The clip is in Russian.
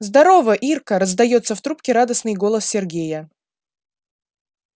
здорово ирка раздаётся в трубке радостной голос сергея